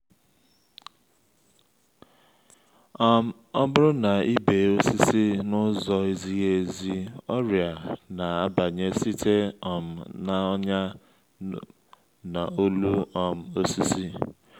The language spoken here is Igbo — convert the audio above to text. um ọ bụrụ na i bee osisi na-ụzọ ezighi ezi ọrịa na-abanye site um na’ọnyà n’olu um osisi.